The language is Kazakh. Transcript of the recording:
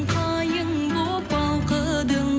қайың боп балқыдың